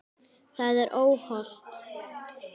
Það er óhollt.